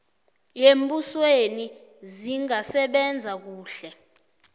yembusweni zingasebenza kuhle